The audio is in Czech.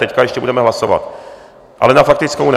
Teď ještě budeme hlasovat, ale na faktickou ne.